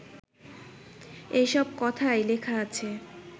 এসব কথাই লেখা আছে